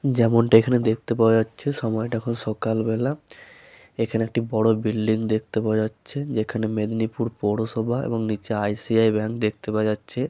যেমনটা এইখানে দেখতে পাওয়া যাচ্ছে সময় টা এখন সকালবেলা। এইখানে একটি বড় বিল্ডিং দেখতে পাওয়া যাচ্ছে। যেখানে মেদিনীপুর পৌরসভা এবং নিচে আই.সি.আই. ব্যাঙ্ক দেখতে পাওয়া যাচ্ছে।